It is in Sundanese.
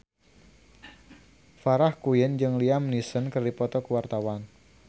Farah Quinn jeung Liam Neeson keur dipoto ku wartawan